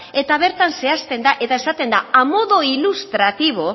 eta bertan zehazten da eta esaten da a modo ilustrativo